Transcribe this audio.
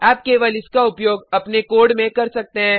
आप केवल इसका उपयोग अपने कोड में कर सकते हैं